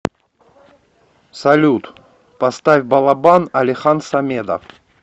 салют поставь балабан алихан самедов